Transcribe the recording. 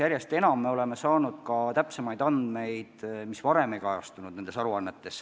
Me oleme ju saanud muidki täpsemaid andmeid, mis varem sellistes aruannetes ei kajastunud.